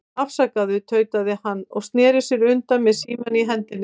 Afsakaðu, tautaði hann og sneri sér undan með símann í hendinni.